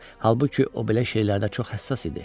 Halbuki o belə şeylərdə çox həssas idi.